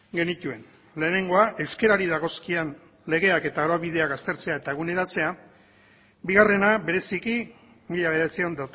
genituen lehenengoa euskarari dagozkion legeak eta araubideak aztertzea eta eguneratzea bigarrena bereziki mila bederatziehun